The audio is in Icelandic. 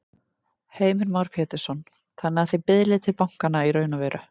Heimir Már Pétursson: Þannig að þið biðlið til bankanna í raun og veru?